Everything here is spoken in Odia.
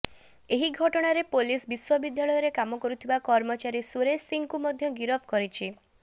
ଏହି ଘଟଣାରେ ପୋଲିସ ବିଶ୍ୱବିଦ୍ୟାଳୟରେ କାମ କରୁଥିବା କର୍ମଚାରୀ ସୁରେଶ ସିଂହଙ୍କୁ ମଧ୍ୟ ଗରଫ କରିଛି